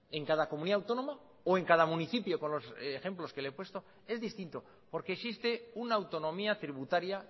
en cada comunidad autónoma o en cada municipio con los ejemplos que le he puesto es distinto porque existe una autonomía tributaria